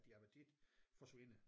Din appetit forsvinder